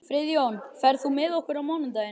Friðjón, ferð þú með okkur á mánudaginn?